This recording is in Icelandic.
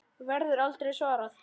Verður aldrei svarað.